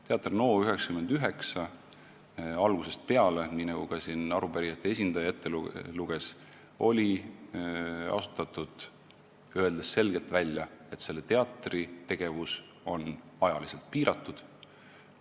Teater NO99 oli asutatud, nii nagu ka arupärijate esindaja ette luges, öeldes selgelt välja, et selle teatri tegevus on ajaliselt piiratud.